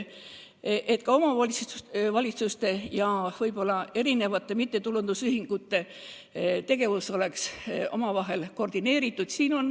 Ka omavalitsuste ja erinevate mittetulundusühingute tegevus peab olema omavahel koordineeritud.